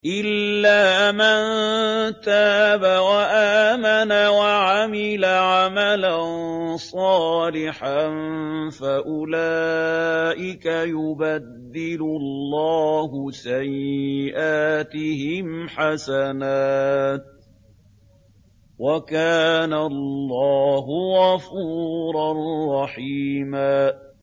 إِلَّا مَن تَابَ وَآمَنَ وَعَمِلَ عَمَلًا صَالِحًا فَأُولَٰئِكَ يُبَدِّلُ اللَّهُ سَيِّئَاتِهِمْ حَسَنَاتٍ ۗ وَكَانَ اللَّهُ غَفُورًا رَّحِيمًا